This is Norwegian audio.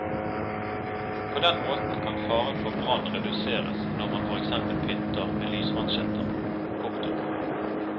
På den måten kan faren for brann reduseres når man for eksempel pynter med lysmansjetter. punktum